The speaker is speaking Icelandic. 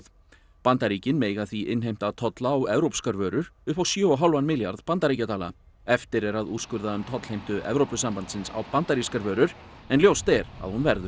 Bandaríkin mega því innheimta tolla á evópskar vörur upp á sjö og hálfan milljarð bandaríkjadala eftir er að úrskurða um tollheimtu Evrópusambandsins á bandarískar vörur en ljóst er að hún verður